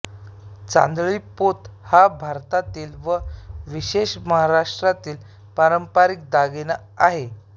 तांदळी पोत हा भारतातील व विशेषतः महाराष्ट्रातील पारंपरिक दागिना आहे